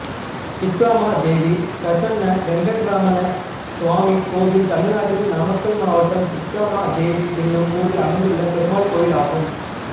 திப்ரமாதேவி பிரசன்ன வெங்கட்ரமண சுவாமி கோயில் தமிழ்நாட்டில் நாமக்கல் மாவட்டம் திப்ரமாதேவி என்னும் ஊரில் அமைந்துள்ள பெருமாள் கோயிலாகும்